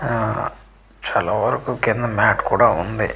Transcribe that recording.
ఆఆ చాలా వరకు కింద మ్యాట్ కూడా ఉంది.